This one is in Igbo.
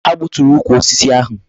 Ha gbuturu ukwu osisi ahu